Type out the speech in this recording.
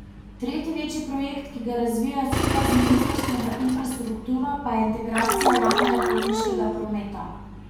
Tretji večji projekt, ki ga razvijajo skupaj z ministrstvom za infrastrukturo, pa je integracija javnega potniškega prometa.